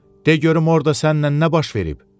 De görüm orda sənnən nə baş verib?